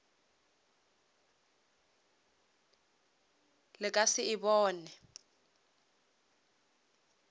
le ka se e bone